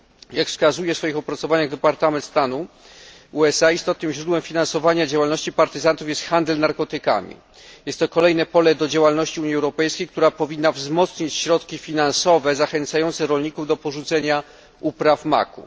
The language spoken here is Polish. Jak wskazuje w swoich opracowaniach Departament Stanu USA, istotnym źródłem finansowania działalności partyzantów jest handel narkotykami. Jest to kolejne pole do działalności Unii Europejskiej, która powinna wzmocnić środki finansowe zachęcające rolników do porzucenia upraw maku.